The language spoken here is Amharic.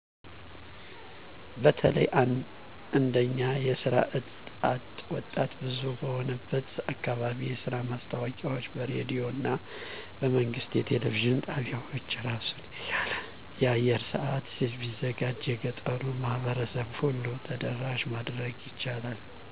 በተለይ እንደኛ የስራ አጥ ወጣት ብዙ በሆነበት አካባቢ የስራ ማስታወቂያወች በሬዲዮና በመንግስት የቴሌቪዥን ጣቢያወች አራሱን የቻለ የአየር ሰአት ቢዘጋጅ የገጠሩን ማህበረሰብ ሁሉ ተደራሽ ማድረግ ይቻላል።